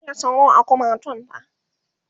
ki buge sauro a kumatun ta!